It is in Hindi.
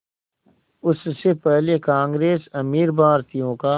उससे पहले कांग्रेस अमीर भारतीयों का